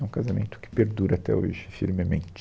É um casamento que perdura até hoje, firmemente.